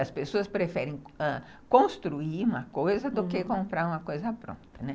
As pessoas preferem construir uma coisa do que comprar uma coisa pronta, né.